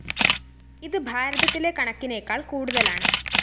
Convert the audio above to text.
ഇത് ഭാരതത്തിലെ കണക്കിനെക്കാള്‍ കൂടുതലാണ്